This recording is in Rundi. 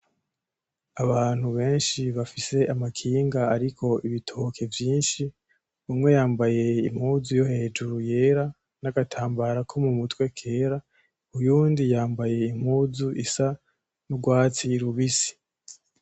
Abantu benshi bafise amakinga ariko ibitoke vyinshi, umwe yambaye impuzu yo hejuru yera n'agatambara ko mu mutwe kera, uyundi yambaye impuzu isa n'urwatsi rubisi.